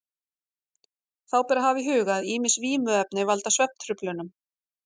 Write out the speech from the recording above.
Þá ber að hafa í huga að ýmis vímuefni valda svefntruflunum.